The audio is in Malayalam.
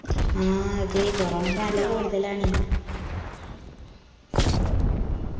ആ അതേ corona ഇപ്പൊ നല്ല കൂടുതലാണ്